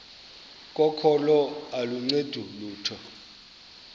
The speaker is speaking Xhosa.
kokholo aluncedi lutho